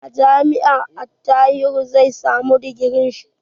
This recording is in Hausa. A jami'a Attahiru zai samu digirin shi.